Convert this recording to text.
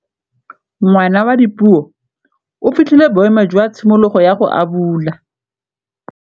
Ngwana wa Dipuo o fitlhile boêmô jwa tshimologô ya go abula.